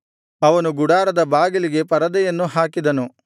ಅವನು ಗುಡಾರದ ಬಾಗಿಲಿಗೆ ಪರದೆಯನ್ನು ಹಾಕಿದನು